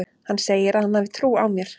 Hann segir að hann hafi trú á mér.